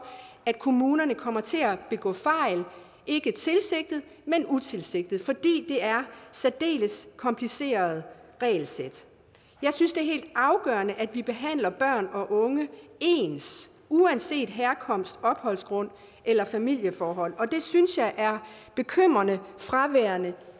at kommunerne kommer til at begå fejl ikke tilsigtet men utilsigtet fordi det er særdeles komplicerede regelsæt jeg synes det er helt afgørende at vi behandler børn og unge ens uanset herkomst opholdsgrund eller familieforhold og det synes jeg er bekymrende fraværende